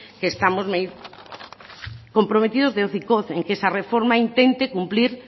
que estamos comprometidos que esa reforma intente cumplir